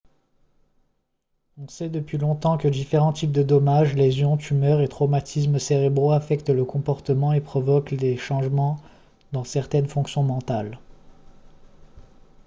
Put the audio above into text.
on sait depuis longtemps que différents types de dommages lésions tumeurs et traumatismes cérébraux affectent le comportement et provoquent des changements dans certaines fonctions mentales